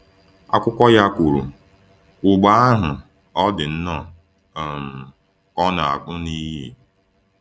Akụkọ ya kwuru: “ Ụgbọ ahụ, ọ̀ dị nnọọ um ka ọ na-apụ n’iyi. ”